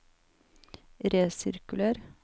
resirkuler